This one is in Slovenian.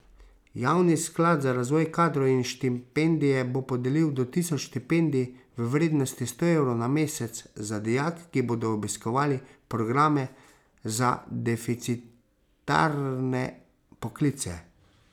Javni sklad za razvoj kadrov in štipendije bo podelil do tisoč štipendij v vrednosti sto evrov na mesec za dijake, ki bodo obiskovali programe za deficitarne poklice.